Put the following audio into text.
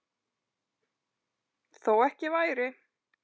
Þó ekki væri.